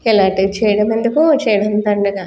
ఇలాటియ్యి చెయ్యడం ఎందుకు చేయడం దండగ.